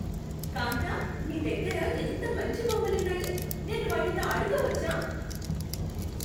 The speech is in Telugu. కాంతా, నీ దగ్గర ఎంత మంచి బొమ్మలున్నాయి. నేను వాటితో ఆడుకోవచ్చా?